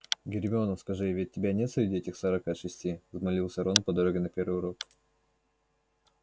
гермиона скажи ведь тебя нет среди этих сорока шести взмолился рон по дороге на первый урок